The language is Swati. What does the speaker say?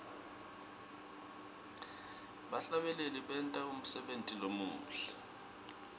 bahlabeleli benta umsebenti lomuhle